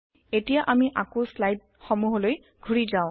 এতিয়া আমি আকৌ স্লাইদ সমুহলৈ ঘুৰি যাওঁ